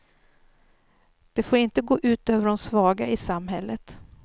Det får inte gå ut över de svaga i samhället.